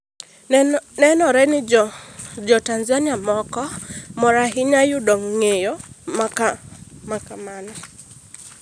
Nenore ni jo Tanzania moko mor ahinya yudo ng’eyo ma kamano.